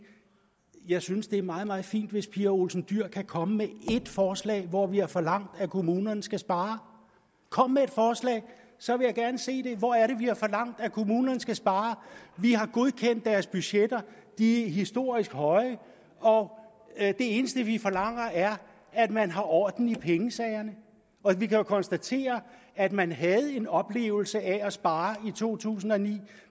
jeg synes det er meget meget fint hvis pia olsen dyhr kan komme med ét forslag hvor vi har forlangt at kommunerne skal spare kom med et forslag så vil jeg gerne se det hvor er det vi har forlangt at kommunerne skal spare vi har godkendt deres budgetter de er historisk høje og det eneste vi forlanger er at man har orden i pengesagerne vi kan jo konstatere at man havde en oplevelse af at spare i to tusind og ni